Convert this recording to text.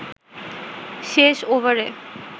শেষ ওভারে